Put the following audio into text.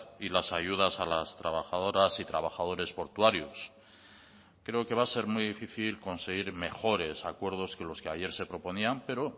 y las ayudas a las trabajadoras y trabajadores portuarios creo que va a ser muy difícil conseguir mejores acuerdos que los que ayer se proponían pero